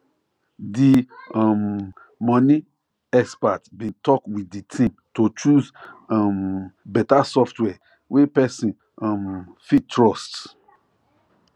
the um money expert bin talk with the team to choose um better software wey person um fit trust